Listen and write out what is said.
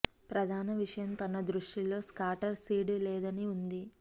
ప్రధాన విషయం తన దృష్టి లో స్కాటర్ సీడ్ లేదని ఉంది